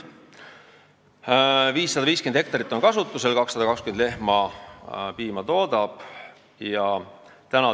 Kasutusel on 550 hektarit ja piima toodab 220 lehma.